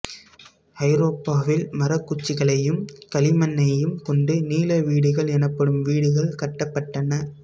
ஐரோப்பாவில் மரக்குச்சிகளையும் களிமண்ணையும் கொண்டு நீள வீடுகள் எனப்படும் வீடுகள் கட்டப்பட்டன